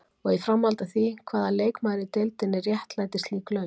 Og í framhaldi af því: Hvaða leikmaður í deildinni réttlætir slík laun?